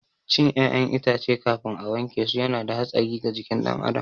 Cin ƴaƴan itace kafin a wankesu yana da hatsari ga jikin ɗan adam